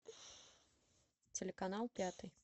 телеканал пятый